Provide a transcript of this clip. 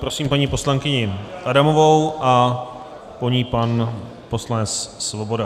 Prosím paní poslankyni Adamovou a po ní pan poslanec Svoboda.